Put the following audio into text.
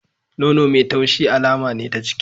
Nono mai taushi alama ne ta ciki.